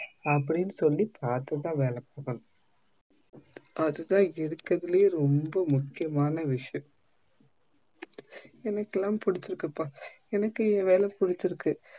அப்டினு சொல்லி பாத்துதான் வேல குடுக்கணும் அதுதான் இருக்குறதுலே ரொம்ப முக்கியமான விஷயம் எனக்கெல்லாம் புடிச்சி இருக்குப்பா என்னக்கு என்வேலை புடிச்சி இருக்கு